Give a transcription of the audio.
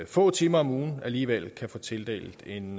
få timer om ugen alligevel kan få tildelt en